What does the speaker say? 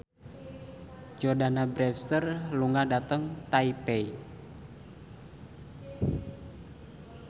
Jordana Brewster lunga dhateng Taipei